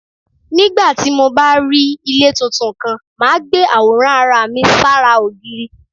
Nígbà tí mo bá rí ilé tuntun kan, màá gbé àwòrán ara mi sára ògiri.